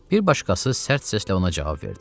Bir başqası sərt səslə ona cavab verdi.